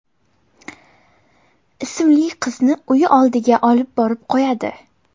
ismli qizni uyi oldiga olib borib qo‘yadi.